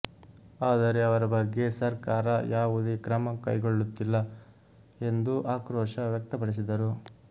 ಆದರೆ ಅವರ ಬಗ್ಗೆ ಸರ್ಕಾರ ಯಾವುದೇ ಕ್ರಮ ಕೈಗೊಳ್ಳುತ್ತಿಲ್ಲ ಎಂದು ಆಕ್ರೋಶ ವ್ಯಕ್ತಪಡಿಸಿದರು